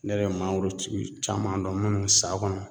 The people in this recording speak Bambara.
Ne yɛrɛ ye mangorotigi caman dɔn minnu san kɔnɔ